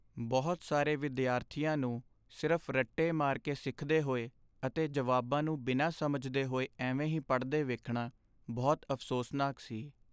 ਬਹੁਤ ਸਾਰੇ ਵਿਦਿਆਰਥੀਆਂ ਨੂੰ ਸਿਰਫ਼ ਰੱਟੇ ਮਾਰ ਕੇ ਸਿੱਖਦੇ ਹੋਏ ਅਤੇ ਜਵਾਬਾਂ ਨੂੰ ਬਿਨਾਂ ਸਮਝਦੇ ਹੋਏ ਐਵੇਂ ਹੀ ਪੜ੍ਹਦੇ ਵੇਖਣਾ ਬਹੁਤ ਅਫ਼ਸੋਸਨਾਕ ਸੀ।